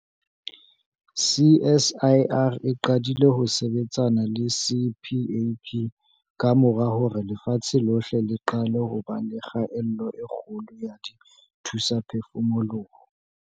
CSIR e qadile ho sebetsana le CPAP kamora hore lefatshe lohle le qale ho ba le kgaello e kgolo ya dithusaphefumoloho.